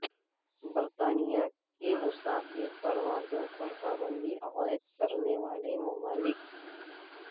برطانیہ کی مسافر پروازوں پر پابندی عائد کرنے والے ممالک